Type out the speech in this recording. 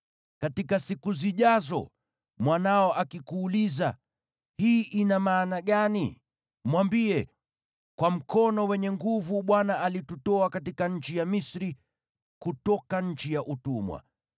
“Katika siku zijazo, mwanao akikuuliza, ‘Hii ina maana gani?’ Mwambie, ‘Kwa mkono wenye nguvu Bwana alitutoa katika nchi ya Misri, kutoka nchi ya utumwa.